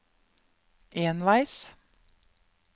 enveis